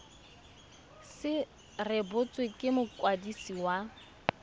se rebotswe ke mokwadisi wa